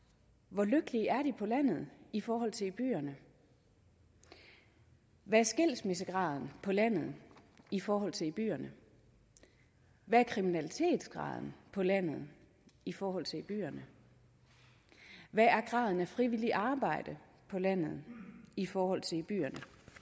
hvor lykkelige er de på landet i forhold til i byerne hvad er skilsmissegraden på landet i forhold til i byerne hvad er kriminalitetsgraden på landet i forhold til i byerne hvad er graden af frivilligt arbejde på landet i forhold til i byerne